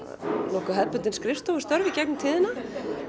nokkuð hefðbundin skrifstofustörf í gegnum tíðina